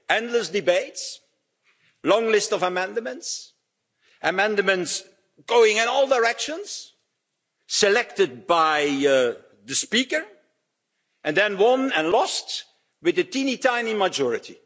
Endless debates, long lists of amendments, amendments going in all directions, selected by the Speaker, and then won and lost with a teeny tiny majority.